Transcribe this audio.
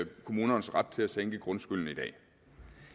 kommunernes ret til at sænke grundskylden i dag det